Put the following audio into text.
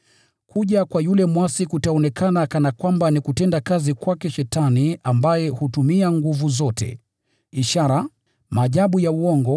Kuja kwa yule mwasi kutaonekana kana kwamba ni kutenda kazi kwake Shetani ambaye hutumia nguvu zote, ishara, maajabu ya uongo,